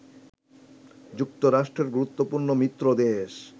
যুক্তরাষ্ট্রের গুরুত্ত্বপূর্ণ মিত্র দেশ